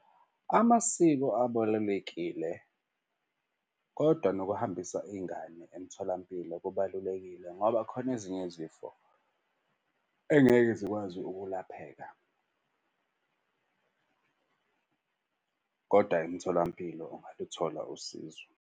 Amasiko abalulekile kodwa nokuhambisa ingane emtholampilo kubalulekile ngoba khona ezinye izifo engeke zikwazi ukulapheka kodwa emtholampilo ungaluthola usizo.